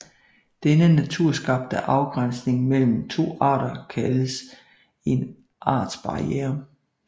Denne naturskabte afgrænsning mellem to arter kaldes en artsbarriere